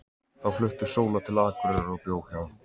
Þá flutti Sóla til Akureyrar og bjó hjá